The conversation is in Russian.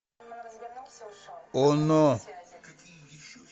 оно